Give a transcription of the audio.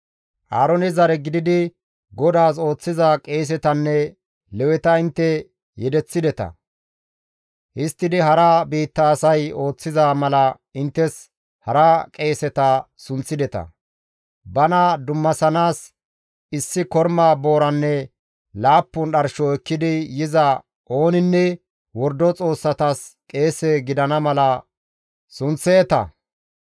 Aaroone zare gididi GODAAS ooththiza qeesetanne Leweta intte yedeththideta. Histtidi hara biitta asay ooththiza mala inttes hara qeeseta sunththideta. Bana dummasanaas issi korma booranne laappun dharsho ekkidi yiza ooninne wordo xoossatas qeese gidana mala sunththeeta.